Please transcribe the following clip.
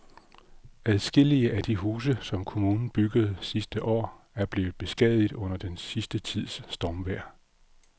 Adskillige af de huse, som kommunen byggede sidste år, er blevet beskadiget under den sidste tids stormvejr.